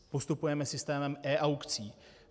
Postupujeme systémem e-aukcí.